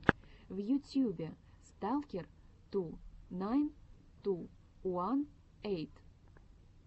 в ютьюбе сталкер ту найн ту уан эйт